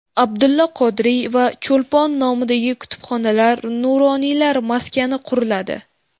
Abdulla Qodiriy va Cho‘lpon nomidagi kutubxonalar, Nuroniylar maskani quriladi.